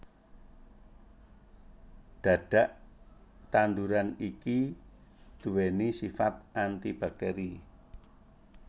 Dhadhak tanduran iki duwéni sifat antibakteri